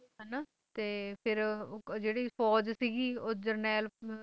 ਹੈ ਨਾ ਤੇ ਫੇਰ ਜਿਹੜੀ ਫੌਜ ਸੀਗੀ ਉਹ ਜਰਨੈਲ